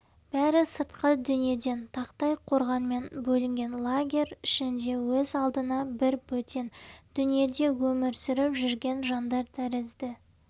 бәрі сыртқы дүниеден тақтай қорғанмен бөлінген лагерь ішінде өз алдына бір бөтен дүниеде өмір сүріп жүрген жандар тәрізді